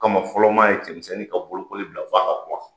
Kama fɔlɔ maa ye cɛmisɛnnin ka bolokoli bila f'a ka kɔrɔ.